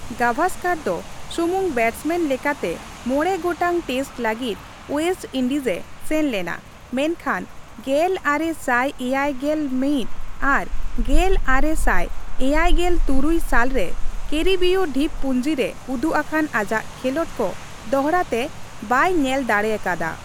ᱜᱟᱣᱟᱥᱠᱟᱨ ᱫᱚ ᱥᱩᱢᱩᱝ ᱵᱮᱴᱥᱢᱮᱱ ᱞᱮᱠᱟᱛᱮ ᱢᱚᱬᱮ ᱜᱚᱴᱟᱝ ᱴᱮᱥᱴ ᱞᱟᱹᱜᱤᱫ ᱳᱭᱮᱥᱴ ᱤᱱᱰᱤᱡᱮ ᱥᱮᱱ ᱞᱮᱱᱟ, ᱢᱮᱱᱠᱷᱟᱱ ᱜᱮᱞ ᱟᱨᱮ ᱥᱟᱭ ᱮᱭᱟᱭ ᱜᱮᱞ ᱢᱚᱤᱛ ᱟᱨ ᱜᱮᱞ ᱟᱨᱮ ᱥᱟᱭ ᱮᱭᱟᱭᱜᱮᱞ ᱛᱩᱨᱩᱭ ᱥᱟᱞ ᱨᱮ ᱠᱮᱨᱤᱵᱤᱭᱚ ᱰᱷᱤᱯᱯᱩᱸᱡᱤ ᱨᱮ ᱩᱫᱩᱜ ᱟᱠᱟᱱ ᱟᱡᱟᱜ ᱠᱷᱮᱞᱚᱸᱰ ᱠᱚ ᱫᱚᱦᱲᱟᱛᱮ ᱵᱟᱭ ᱧᱮᱞ ᱫᱟᱲᱮᱭᱟᱠᱟᱫᱼᱟ ᱾